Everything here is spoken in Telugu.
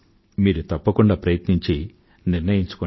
మీరు ప్రయత్నించండి